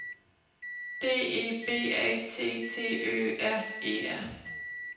D E B A T T Ø R E R